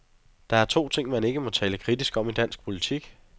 Der er to ting, man ikke må tale kritisk om i dansk politik.